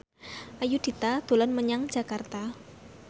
Ayudhita dolan menyang Jakarta